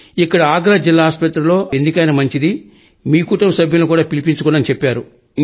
ఇక్కడి ఆగ్రా జిల్లా ఆస్పత్రిలో ఆస్పత్రి వారు ఎందుకైనా మంచిది మీకుటుంబ సభ్యులను కూడా పిలుచుకోండి అని చెప్పారు